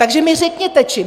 Takže mi řekněte čím?